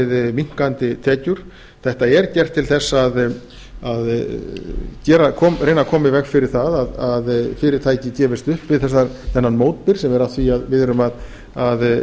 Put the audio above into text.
við minnkandi tekjur þetta er gert til þess að reyna að koma í veg fyrir að fyrirtæki gefist upp við þennan mótbyr sem er af því að við erum að